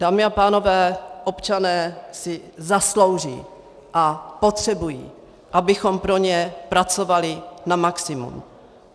Dámy a pánové, občané si zaslouží a potřebují, abychom pro ně pracovali na maximum.